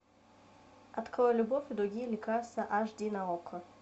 открой любовь и другие лекарства аш ди на окко